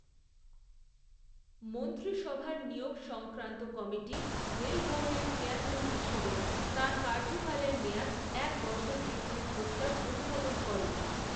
মন্ত্রিসভার নিয়োগ সংক্রান্ত কমিটি, রেল বোর্ডের চেয়ারম্যান হিসেবে তাঁর কার্যকালের মেয়াদ, এক বছর বৃদ্ধির প্রস্তাব অনুমোদন করে।